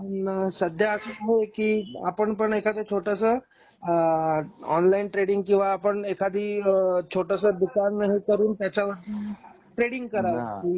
पण सध्या अस आहे की आपण पण एखादा छोटास आ ऑनलाइन ट्रेडिंग किंवा आपण एखादी अ छोटस दुकान ओपन करून त्याच्या वर ट्रेडिंग कराव कि